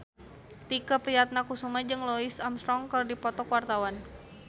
Tike Priatnakusuma jeung Louis Armstrong keur dipoto ku wartawan